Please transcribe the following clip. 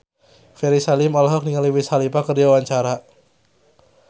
Ferry Salim olohok ningali Wiz Khalifa keur diwawancara